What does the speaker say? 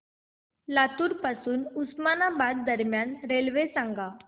लातूर पासून उस्मानाबाद दरम्यान रेल्वे सांगा